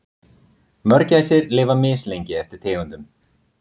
Mörgæsir lifa mislengi eftir tegundum.